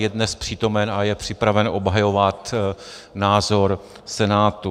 Je dnes přítomen a je připraven obhajovat názor Senátu.